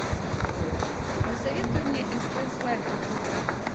посоветуй мне стс лайф на тв